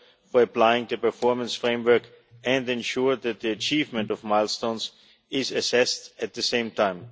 for applying the performance framework and to ensure that the achievement of milestones is assessed at the same time.